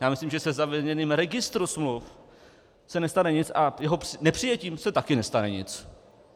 Já myslím, že se zavedením registru smluv se nestane nic a jeho nepřijetím se také nestane nic.